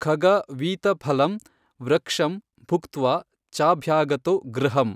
ಖಗಾ ವೀತಫಲಂ ವೃಕ್ಷಂ ಭುಕ್ತ್ವಾ ಚಾಭ್ಯಾಗತೋ ಗೃಹಮ್।